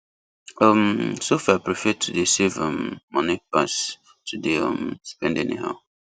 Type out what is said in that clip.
um sophia prefer to dey save um money pass to dey um spend anyhow